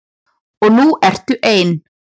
Og nú ertu ein.